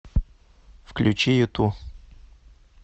включи юту